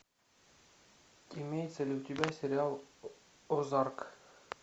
имеется ли у тебя сериал озарк